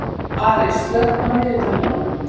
Ari, slökktu á niðurteljaranum.